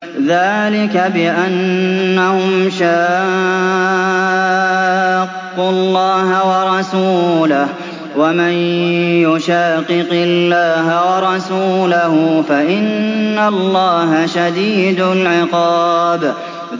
ذَٰلِكَ بِأَنَّهُمْ شَاقُّوا اللَّهَ وَرَسُولَهُ ۚ وَمَن يُشَاقِقِ اللَّهَ وَرَسُولَهُ فَإِنَّ اللَّهَ شَدِيدُ الْعِقَابِ